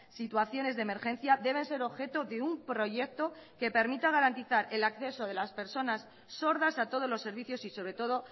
situaciones de emergencia deben ser objeto de un proyecto que permita garantizar el acceso de las personas sordas a todos los servicios y sobre todo